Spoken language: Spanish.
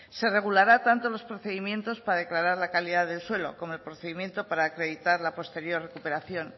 se regulará tanto los procedimientos para declarar la calidad del suelo como el procedimiento para acreditar la posterior recuperación